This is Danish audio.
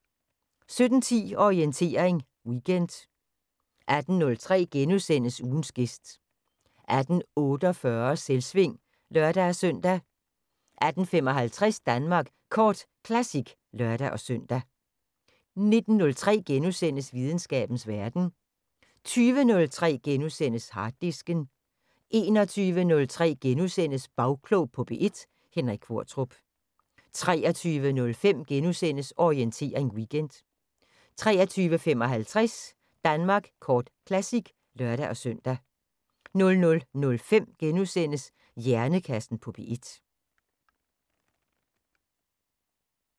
17:10: Orientering Weekend 18:03: Ugens gæst * 18:48: Selvsving (lør-søn) 18:55: Danmark Kort Classic (lør-søn) 19:03: Videnskabens Verden * 20:03: Harddisken * 21:03: Bagklog på P1: Henrik Qvortrup * 23:05: Orientering Weekend * 23:55: Danmark Kort Classic (lør-søn) 00:05: Hjernekassen på P1 *